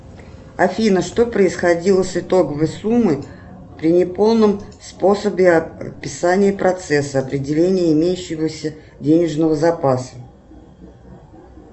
афина что происходило с итоговой суммой при неполном способе описания процесса определения имеющегося денежного запаса